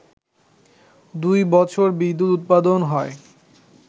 দুই বছর বিদ্যুৎ উৎপাদন হয়